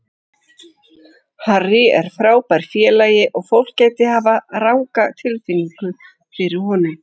Harry er frábær félagi og fólk gæti hafa ranga tilfinningu fyrir honum.